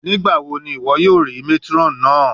Nigbawo ni iwọ yoo rii matron naa?